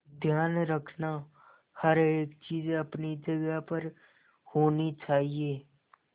ध्यान रखना हर एक चीज अपनी जगह पर होनी चाहिए